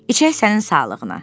İçək sənin sağlığına.